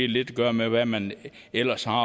lidt at gøre med hvad man ellers har